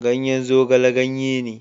Ganyen zogale ganye ne.